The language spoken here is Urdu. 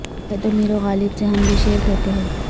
کہہ دو میرو غالب سے ہم بھی شعر کہتے ہیں